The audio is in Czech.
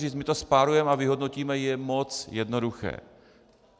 Říct, že to spárujeme a vyhodnotíme, je moc jednoduché.